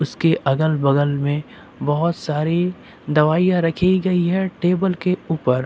उसके अगल बगल में बहुत सारी दवाइयां रखी गई है टेबल के ऊपर।